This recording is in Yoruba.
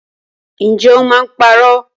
Ǹjẹ́ o máa ń parọ́?